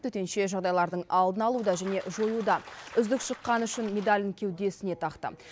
төтенше жағдайлардың алдын алуда және жоюда үздік шыққаны үшін медалін кеудесіне тақты